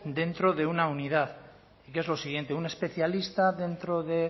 dentro de una unidad y qué es lo siguiente un especialista dentro de